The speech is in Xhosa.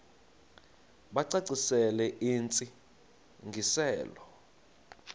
bacacisele intsi ngiselo